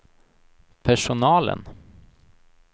personalen